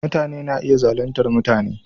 Mutane na iya zaluntar mutane.